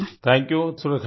thank you Surekha ji